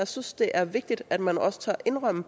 synes det er vigtigt at man også tør indrømme